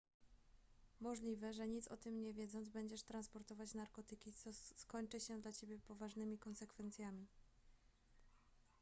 możliwe że nic o tym nie wiedząc będziesz transportować narkotyki co skończy się dla ciebie poważnymi konsekwencjami